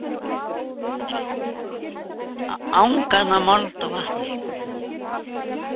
Angan af mold og vatni.